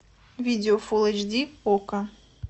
видео фулл эйч ди окко